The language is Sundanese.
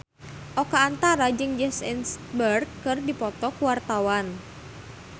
Oka Antara jeung Jesse Eisenberg keur dipoto ku wartawan